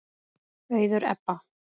Auður Ebba.